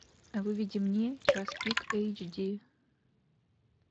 выведи мне час пик эйч ди